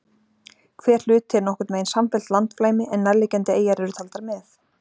Hver hluti er nokkurn veginn samfellt landflæmi en nærliggjandi eyjar eru taldar með.